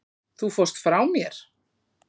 Þú fórst frá mér.